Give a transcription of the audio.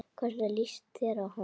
Hvernig leist þér á hann?